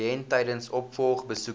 kliënt tydens opvolgbesoeke